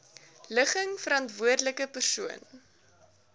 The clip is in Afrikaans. ligging verantwoordelike persoon